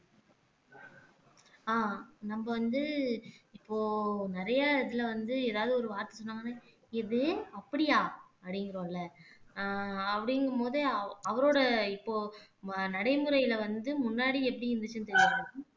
ஆஹ் நம்ப வந்து இப்போ நிறைய இதுல வந்து ஏதாவது ஒரு வார்த்தை சொன்னாங்கன்னா எது அப்படியா அப்படிங்கிறோம் இல்ல ஆஹ் அப்படிங்கும்போது அவரோட இப்போ நடைமுறையிலே வந்து முன்னாடி எப்படி இருந்துச்சுன்னு